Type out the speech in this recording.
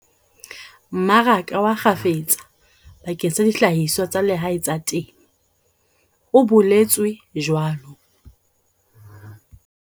"mmaraka wa kgafetsa bakeng sa dihlahiswa tsa lehae tsa temo," o boletswe jwalo.